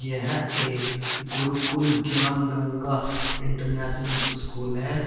यह एक Gurukul Gyan Ganga international school है।